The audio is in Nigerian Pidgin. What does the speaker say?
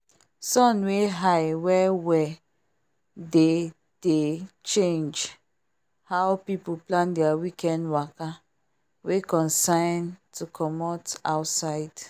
sun wey high well well dey dey change how people plan their weekend waka wey concern to commot outside.